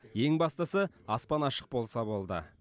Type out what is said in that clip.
ең бастысы аспан ашық болса болды